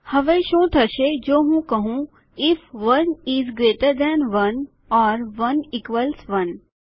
હવે શું થશે જો હું કહું if 1 is greater than 1 or 1 equals 1